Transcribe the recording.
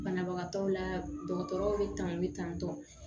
Banabagatɔw la dɔgɔtɔrɔw bɛ tan bɛ tantɔ